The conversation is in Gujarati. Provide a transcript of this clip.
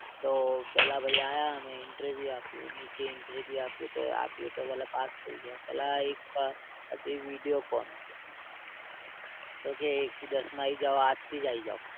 તો પેલા ભાઈ આવ્યા મે interview આપ્યું નીચે Interview આપ્યું તું, આપ્યું તો બોલે પાસ થઈ ગયા. પહેલા એક હતી Videocon ક્યે એક થી દસમાં આઈ જાવ આજ થી જ આઈ જાવ